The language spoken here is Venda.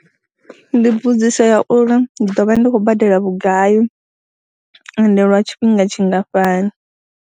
Ndi mbudziso ya uri ndi ḓo vha ndi khou badela vhugai ende lwa tshifhinga tshingafhani.